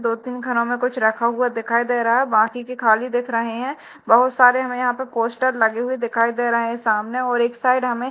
दो तीन खानों में कुछ रखा हुआ दिखाई दे रहा है बाकी के खाली दिख रहें हैं बहोत सारे हमें यहां पे पोस्टर लगे हुए दिखाई दे रहे हैं सामने और एक साइड हमें--